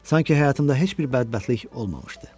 Sanki həyatımda heç bir bədbəxtlik olmamışdı.